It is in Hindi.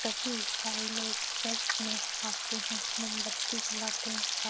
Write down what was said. सभी इसाई लोग चर्च में आते हैं। मोमबत्ती जलाते हैं। रा --